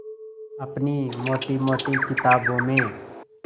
अपनी मोटी मोटी किताबों में